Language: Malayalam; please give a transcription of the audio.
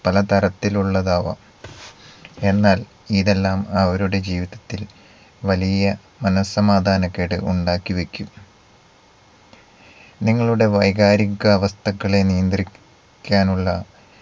പലതരത്തിലുള്ളതാവാം. എന്നാൽ ഇതെല്ലാം അവരുടെ ജീവിതത്തിൽ വലിയ മനസ്സമാധാനക്കേട് ഉണ്ടാക്കി വെക്കും. നിങ്ങളുടെ വൈകാരിക അവസ്ഥകളെ നിയന്ത്രിക്കാനുള്ള